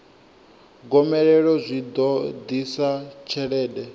gomelelo zwi ḓo ḓisa tshelede